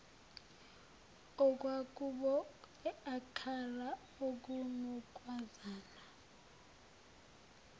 okwakubon akala okunokwazana